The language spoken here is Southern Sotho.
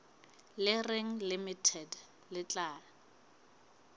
le reng limited le tla